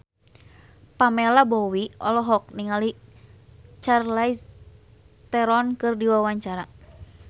Pamela Bowie olohok ningali Charlize Theron keur diwawancara